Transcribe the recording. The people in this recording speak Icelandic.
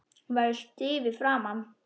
Hún verður stíf í framan.